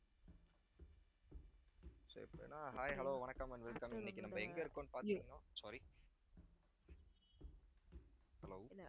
so இப்ப என்ன hi hello வணக்கம் and welcome இன்னைக்கு நம்ம எங்க இருக்கோம்ன்னு பார்த்திங்கனா sorry hello